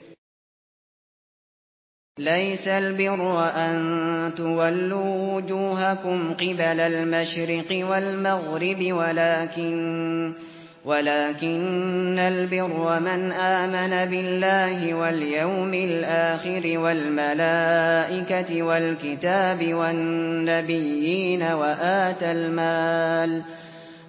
۞ لَّيْسَ الْبِرَّ أَن تُوَلُّوا وُجُوهَكُمْ قِبَلَ الْمَشْرِقِ وَالْمَغْرِبِ وَلَٰكِنَّ الْبِرَّ مَنْ آمَنَ بِاللَّهِ وَالْيَوْمِ الْآخِرِ وَالْمَلَائِكَةِ وَالْكِتَابِ وَالنَّبِيِّينَ